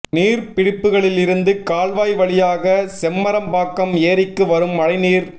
நீர்பிடிப்புகளில் இருந்து கால்வாய் வழியாக செம்பரம்பாக்கம் ஏரிக்கு வரும் மழை நீர்